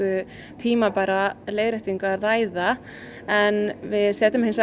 tímabæra leiðréttingu að ræða en við setjum hins